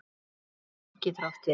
Lóa getur átt við